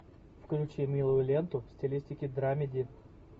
включи милую ленту в стилистике драмеди